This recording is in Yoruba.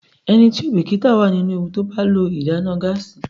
Ẹni tí kò bìkítà wà nínú ewu tí ó bá lo ìdáná gáásì.